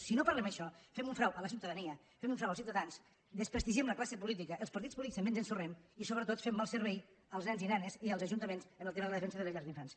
si no parlem d’això fem un frau a la ciutadania fem un frau als ciutadans desprestigiem la classe política els partits polítics també ens ensorrem i sobretot fem mal servei als nens i nenes i als ajuntaments en el tema de la defensa de les llars d’infants